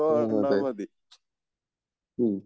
മ്മ്